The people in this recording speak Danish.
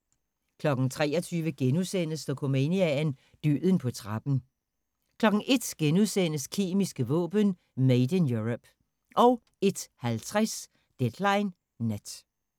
23:00: Dokumania: Døden på trappen * 01:00: Kemiske våben: Made in Europe * 01:50: Deadline Nat